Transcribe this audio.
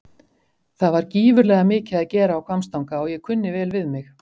Það var gífurlega mikið að gera á Hvammstanga og ég kunni vel við mig.